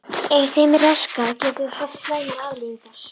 Ef þeim er raskað getur það haft slæmar afleiðingar.